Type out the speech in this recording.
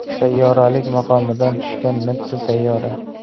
Sayyoralik maqomidan tushgan mitti sayyora.